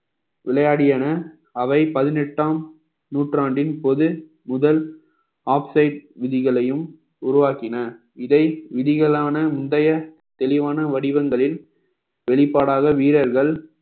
விளையாடின அவை பதினெட்டாம் நூற்றாண்டின் பொது முதல் ஆக்சைடு விதிகளையும் உருவாக்கின இதை விதிகளான முந்தைய தெளிவான வடிவங்களில் வெளிப்பாடாக வீரர்கள்